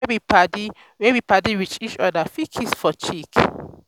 pipo wey be padi wey be padi with each oda fit kiss for cheek